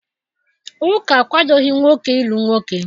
Ụka akwadoghị nwoke ịlụ nwoke